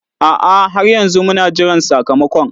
A'a, har yanzu muna jiran sakamakon.